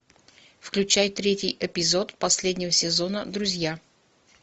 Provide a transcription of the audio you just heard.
включай третий эпизод последнего сезона друзья